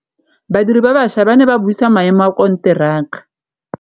Badiri ba baša ba ne ba buisa maêmô a konteraka.